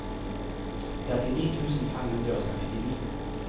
trettini tusen fem hundre og sekstini